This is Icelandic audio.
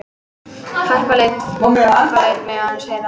Harpa lét mig aðeins heyra það.